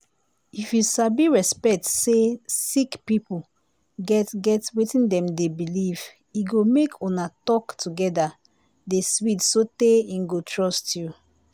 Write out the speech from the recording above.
if you sabi respect say sick pipo get get wetin dem dey believe e go make una tok together dey sweet sotay im go trust you.